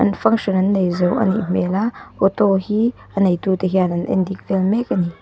function an nei zo a nih hmel a auto hi a nei tute hian an en dik vel mek a ni.